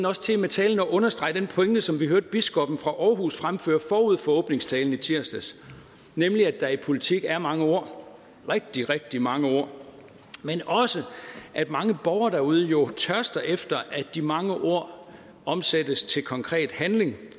også til med talen at understrege den pointe som vi hørte biskoppen fra aarhus fremføre forud for åbningstalen i tirsdags nemlig at der i politik er mange ord rigtig rigtig mange ord men også at mange borgere derude jo tørster efter at de mange ord omsættes til konkret handling